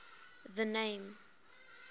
the name